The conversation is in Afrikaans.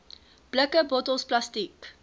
blikke bottels plastiek